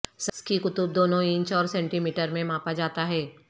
سکی قطب دونوں انچ اور سینٹی میٹر میں ماپا جاتا ہے